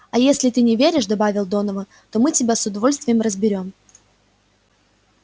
а если ты не веришь добавил донован то мы тебя с удовольствием разберём